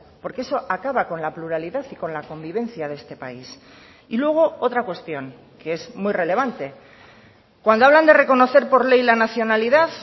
porque eso acaba con la pluralidad y con la convivencia de este país y luego otra cuestión que es muy relevante cuando hablan de reconocer por ley la nacionalidad